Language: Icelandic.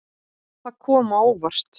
Það kom á óvart.